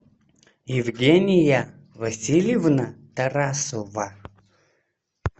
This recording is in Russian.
евгения васильевна тарасова